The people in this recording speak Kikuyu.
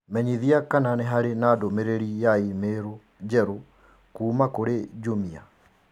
Menyithia kana nĩ harĩ na ndũmĩrĩri ya i-mīrū njerũ kuuma kũrĩ Jumia